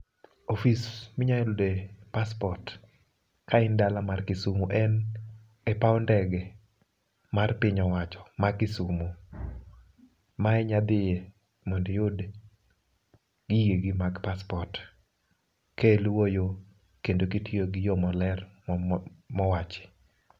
Ofis mi nyalo yude paspot ka in dala mar kisumo en e paw denge mar piny owacho ma kisumo ma inya dhiye mondo iyud gige gi mag paspot ka iluwo yoo kendo kitiyo gi yoo maler mowachi.